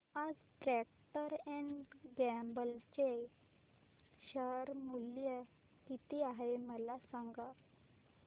आज Procter and Gamble चे share मूल्य किती आहे मला सांगा